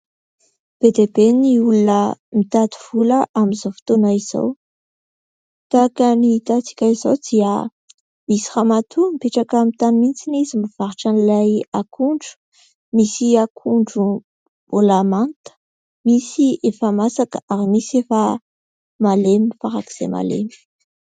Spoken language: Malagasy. Be dia be ny olona mitady vola amin'izao fotoana izao. Tahaka ny hitantsika izao dia misy ramatoa mipetraka amin'ny tany mihitsy izy mivarotra an'ilay akondro. misy akondro mbola manta, misy efa masaka ary misy efa malemy farak'izay malemy.